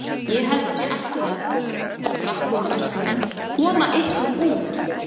Ég held að þið ættuð að. svo sprakk hún og öskraði: KOMA YKKUR ÚT!